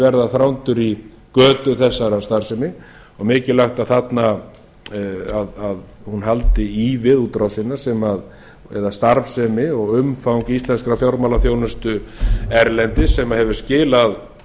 verða þrándur í götu þessarar starfsemi og mikilvægt að hún haldi í við útrásina eða starfsemi og umfang íslenskrar fjármálaþjónustu erlendis sem hefur skilað